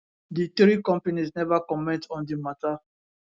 di three companies neva comment on di mata